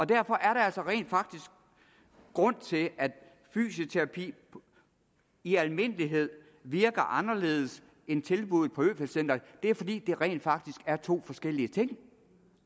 derfor er der altså en grund til at fysioterapi i almindelighed virker anderledes end tilbuddet på øfeldt centret det er fordi det rent faktisk er to forskellige ting